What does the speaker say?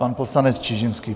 Pan poslanec Čižinský.